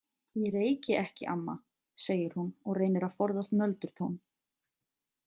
Ég reyki ekki, amma, segir hún og reynir að forðast nöldurtón.